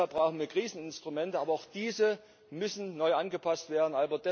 Deshalb brauchen wir Kriseninstrumente, aber auch diese müssen neu angepasst werden.